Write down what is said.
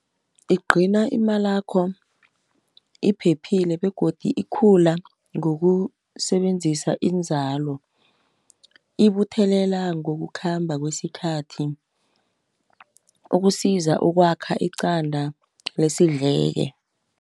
Igcina imalakho iphephile begodu ikhula ngokusebenzisa inzalo. Ibuthelela ngokukhamba kwesikhathi ukusiza ukwakha iqanda lesidleke.